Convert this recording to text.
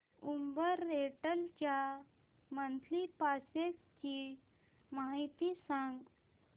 Uber rental च्या monthly passes ची माहिती सांग